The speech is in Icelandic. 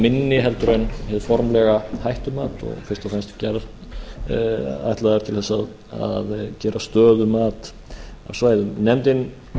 talsvert viðaminni heldur en hið formlega hættumat fyrst og fremst ætlaðar til þess að gera stöðumat á svæðum nefndin